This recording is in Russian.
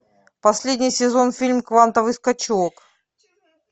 последний сезон фильм квантовый скачок